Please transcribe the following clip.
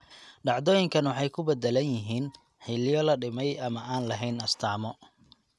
Dhacdooyinkan waxay ku beddelan yihiin xilliyo la dhimay ama aan lahayn astaamo (calaamado).